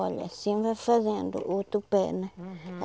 Olha, assim vai fazendo o outro pé, né? Uhum.